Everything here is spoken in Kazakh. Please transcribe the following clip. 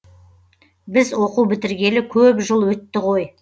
біз оқу бітіргелі көп жыл өтті ғой